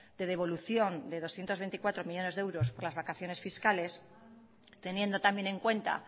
de devolución de doscientos veinticuatro millónes euros por las vacaciones fiscales teniendo también en cuenta